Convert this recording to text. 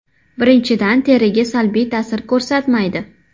Birinchidan teriga salbiy ta’sir ko‘rsatmaydi.